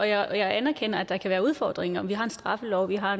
jeg anerkender at der kan være udfordringer og vi har en straffelov og vi har